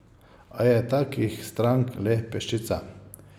A je takih strank le peščica.